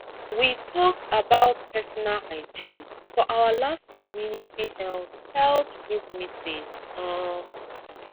we talk about personal hygiene for our last community health health group meeting um